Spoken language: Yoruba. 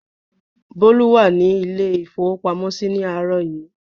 Bólú wà ní ilé-ìfowópamọ́sí ní àárọ̀ yìí.